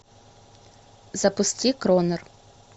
запусти кронер